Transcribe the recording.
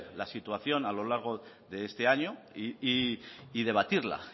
la situación a lo largo de este año y debatirla